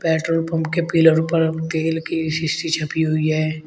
Petrol pump के pillar पर तेल की शीशी छपी हुई है।